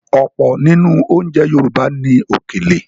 Ọ̀pọ̀ nínú oúnjẹ Yorùbá ní “Òkèlè”.